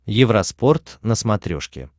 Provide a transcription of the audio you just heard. евроспорт на смотрешке